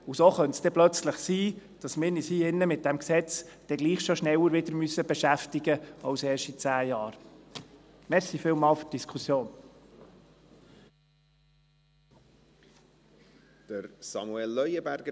So könnte es dann plötzlich sein, dass wir uns hier drin mit diesem Gesetz doch schon schneller wieder beschäftigen müssen als erst in zehn Jahren.